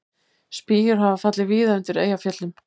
Spýjur hafa fallið víða undir Eyjafjöllum